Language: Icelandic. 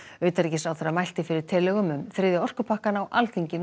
utanríkisráðherra mælti fyrir tillögu um þriðja orkupakkann á Alþingi